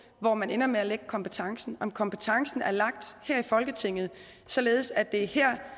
hvor man ender med at lægge kompetencen om kompetencen er lagt her i folketinget således at det er her